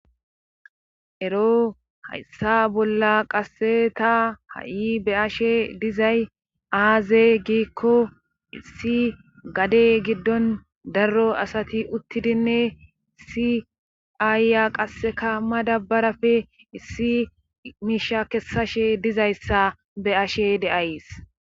ero hayssa bolla qase ta ha7i be ashe dizay aaze giikko issi gade giddon darro asati uttidinne siaayya qasseka ma dabbarafe issi miisha kessashe dizayssa beashe de7aysi.